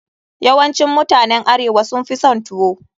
Yawancin mutanen arewa sun fi son tuwo.